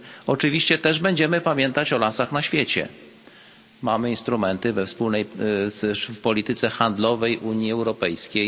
Oczywiście będziemy też pamiętać o lasach na świecie, mamy instrumenty we wspólnej w polityce handlowej Unii Europejskiej.